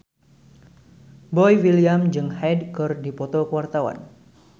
Boy William jeung Hyde keur dipoto ku wartawan